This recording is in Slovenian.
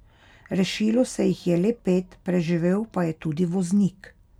Rešilo se jih je le pet, preživel pa je tudi voznik.